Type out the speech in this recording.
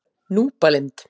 Núpalind